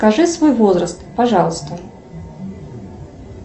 скажи свой возраст пожалуйста